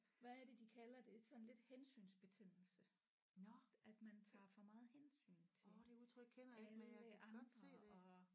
Hvad er det de kalder det sådan lidt hensynsbetændelse at man tager for meget hensyn til alle andre og